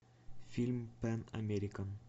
фильм пэн американ